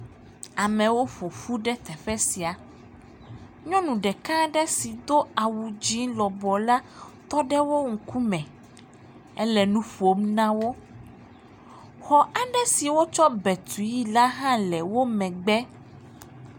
Amewo ƒo ƒu ɖe teƒe sia. Nyɔnu ɖeka aɖe yi do awu dzẽẽ lɔbɔ la, tɔ ɖe wo ŋkume. Ele nu ƒom na wo. Xɔ aɖe si wotsɔ bɛ tuii la hã le wo megbe.